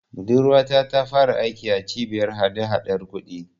Budurwata ta fara aiki a Cibiyar hadahadar kuɗi.